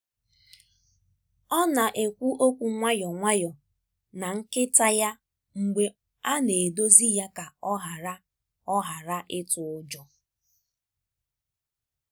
ọ na-ekwu okwu nwayọọ na nkịta ya mgbe a na-edozi ya ka ọ ghara ọ ghara ịtụ ụjọ.